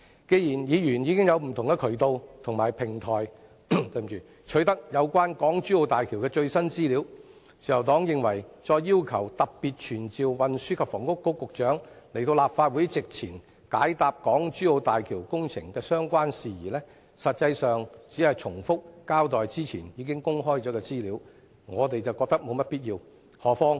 既然議員已經有不同的渠道及平台取得有關港珠澳大橋的最新資料，自由黨認為再要求特別傳召運房局局長到立法會席前，解答港珠澳大橋工程的相關事宜，實際上只是重複交代之前已經公開的資料，我們覺得沒有必要。